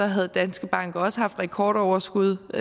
havde danske banker også haft rekordoverskud